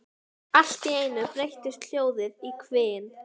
Allt í einu breytist hljóðið í hvin.